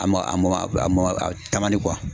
A ma a mɔn a mɔn a taama di